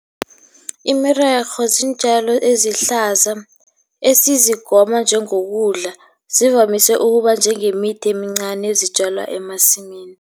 Imirorho ziintjalo ezihlaza esizigoma njengokudla, zivamise ukuba njengemithi emincani ezitjalwa emasimini.